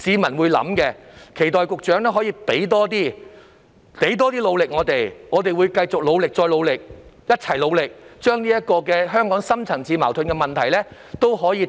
我期待局長可以付出更多努力，我們亦會繼續努力再努力，一同面對香港的深層次矛盾問題。